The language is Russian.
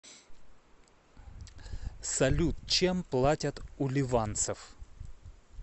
салют чем платят у ливанцев